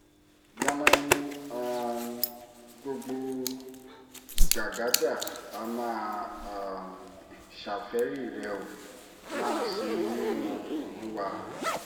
gbanami um gbogbo gbàgádà á máa um ṣàfẹ́ẹ̀rí rẹ̀ ó máa sinmi nínú olúwa